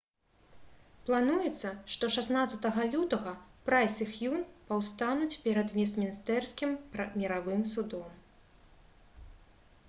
плануецца што 16 лютага прайс і х'юн паўстануць перад вестмінстэрскім міравым судом